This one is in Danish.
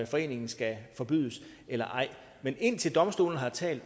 foreningen skal forbydes eller ej men indtil domstolen har talt